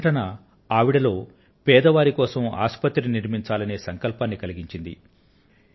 ఆ సంఘటన ఆవిడలో పేదవారి కోసం ఆసుపత్రి నిర్మించాలనే సంకల్పాన్ని కలిగించింది